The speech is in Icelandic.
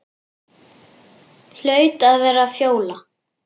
Hlaut að vera Fjóla.